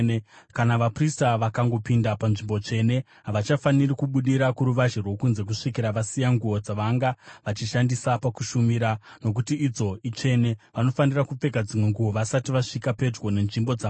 Kana vaprista vakangopinda panzvimbo tsvene, havachafaniri kubudira kuruvazhe rwokunze kusvikira vasiya nguo dzavanga vachishandisa pakushumira, nokuti idzo itsvene. Vanofanira kupfeka dzimwe nguo vasati vasvika pedyo nenzvimbo dzavanhu.”